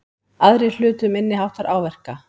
Aðrir hlutu minniháttar áverka